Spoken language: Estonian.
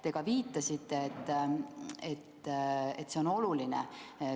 Te ka viitasite, et see on oluline.